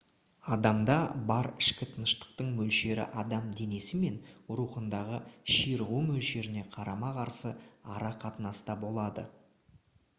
адамда бар ішкі тыныштықтың мөлшері адам денесі мен рухындағы ширығу мөлшеріне қарама-қарсы ара қатынаста болады